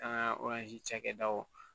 An ka cakɛdaw